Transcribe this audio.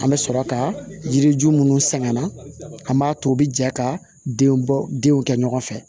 An bɛ sɔrɔ ka yiri ju minnu sɛgɛnna an b'a to u bɛ jɛ ka denw bɔ denw kɛ ɲɔgɔn fɛ